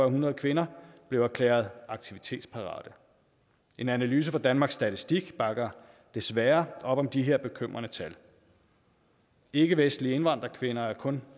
hundrede kvinder blev erklæret aktivitetsparate en analyse fra danmarks statistik bakker desværre op om de her bekymrende tal ikkevestlige indvandrerkvinder er kun